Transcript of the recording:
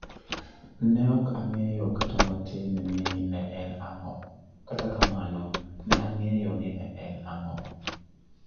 Ne ok ang'eyo kata matin ni ne en ang'o, kata kamano, ne ang'eyo ni ne en ang'o.